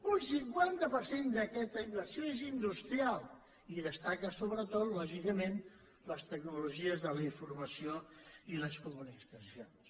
un cinquanta per cent d’aquesta inversió és industrial i destaquen sobretot lògicament les tecnologies de la informació i les comunicacions